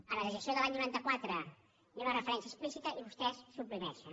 a la legislació de l’any noranta quatre hi ha una referència explícita i vostès la suprimeixen